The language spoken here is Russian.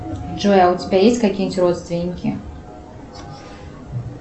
джой а у тебя есть какие нибудь родственники